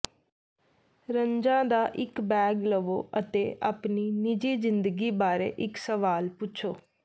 ਰਨਜ਼ਾਂ ਦਾ ਇੱਕ ਬੈਗ ਲਵੋ ਅਤੇ ਆਪਣੀ ਨਿੱਜੀ ਜ਼ਿੰਦਗੀ ਬਾਰੇ ਇੱਕ ਸਵਾਲ ਪੁੱਛੋ